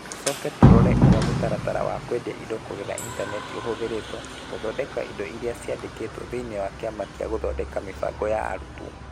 Tũcoke tũrore ũrĩa mũtaratara wa kwendia indo kũgerera intaneti ũhũthĩrĩtwo gũthondeka indo iria ciandĩkĩtwo thĩinĩ wa Kĩama gĩa Gũthondeka Mĩbango ya Arutwo.